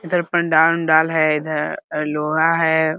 इधर पंडाल उनडाल है इधर लोहा है।